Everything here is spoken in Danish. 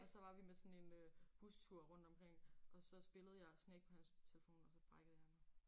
Og så var vi med sådan en øh bustur rundt omkring og så spillede jeg Snake på hans telefon og så brækkede jeg mig